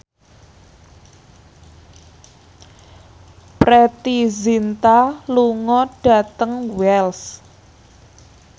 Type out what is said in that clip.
Preity Zinta lunga dhateng Wells